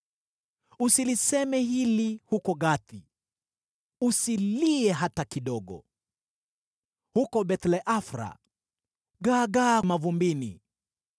Usiliseme hili huko Gathi; usilie hata kidogo. Huko Beth-le-Afra gaagaa mavumbini.